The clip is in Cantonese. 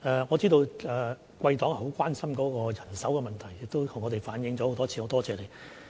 我知道貴黨很擔心人手的問題，亦曾多次向我們反映，多謝你。